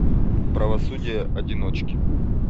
правосудие одиночки